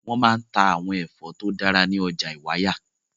Wọ́n máa ń ta àwọn ẹ̀fọ́ tó dára ní ọjà Ìwàyà.